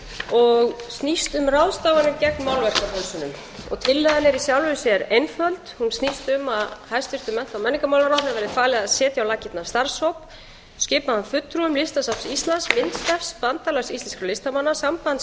og snýst um ráðstafanir gegn málverkafölsunum tillagan er í sjálfu sér einföld hún snýst um að hæstvirtum mennta og menningarmálaráðherra verði falið að setja á laggirnar starfshóp skipaðan fulltrúum listasafns íslands myndstefs bandalags íslenskra listamanna sambands